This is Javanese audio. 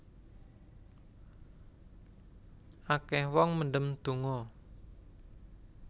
Akeh wong mendem donga